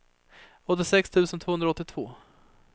åttiosex tusen tvåhundraåttiotvå